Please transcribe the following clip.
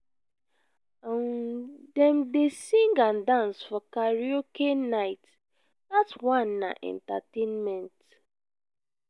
um dem dey sing and dance for karaoke night dat one na entertainment.